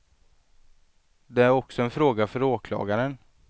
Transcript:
Det är också en fråga för åklagaren.